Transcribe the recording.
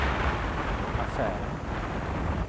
affären